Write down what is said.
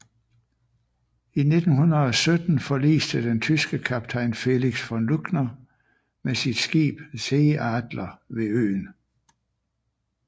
I 1917 forliste den tyske kaptajn Felix von Luckner med sit skib Seeadler ved øen